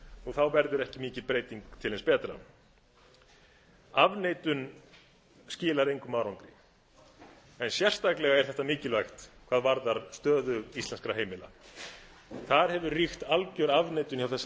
þá verður ekki mikil breyting til hins betra afneitun skilar engum árangri en sérstaklega er þetta mikilvægt hvað varðar stöðu íslenskra heimila þar hefur ríkt algjör afneitun hjá þessari